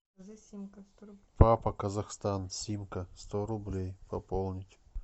папа казахстан симка сто рублей пополнить